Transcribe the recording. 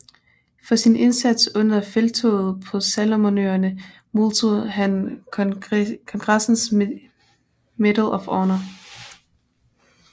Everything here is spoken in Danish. For sin indsats under Felttoget på Salomonøerne modtog han kongressens Medal of Honor